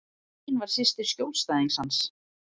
Ein var systir skjólstæðings hans.